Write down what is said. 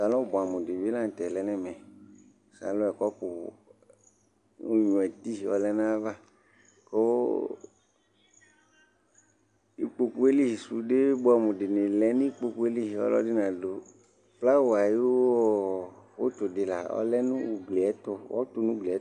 salɔn boɛ amo di bi lantɛ lɛ n'ɛmɛ salɔn yɛ kɔpu onyua tii ɔlɛ n'ava kò ikpoku yɛ li sude boɛ amo di lɛ no ikpoku yɛ li ɔlò ɛdi na du flawa ayi ɔ utu di la ɔlɛ no ugli yɛ to ɔto no ugli yɛ to